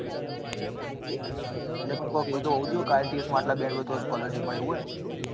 અરે પણ એવું તો કોક હોવું જોઈએ ને કે ielts માં આટલા band હોય તો scholarship મળે એવું હોય ને